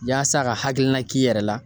Yaasa ka hakilina k'i yɛrɛ la